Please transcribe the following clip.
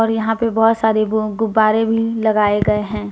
और यहां पे बहुत सारे वो गुब्बारे भी लगाए गए हैं।